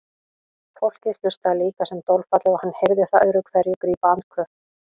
Fólkið hlustaði líka sem dolfallið og hann heyrði það öðru hverju grípa andköf.